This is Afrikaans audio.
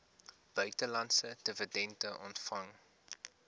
buitelandse dividende ontvang